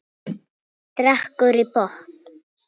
Drekkur í botn.